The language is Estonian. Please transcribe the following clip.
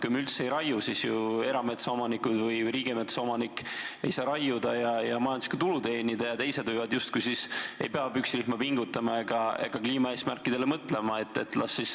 Kui me üldse ei raiu, siis erametsaomanikud ja riigimetsa omanik ei saa raiuda ja majanduslikku tulu teenida, teised aga ei pea tänu sellele püksirihma pingutama ega kliimaeesmärkidele mõtlema.